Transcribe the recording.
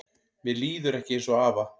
Mér líður ekki eins og afa